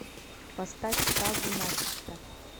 поставь сагу начисто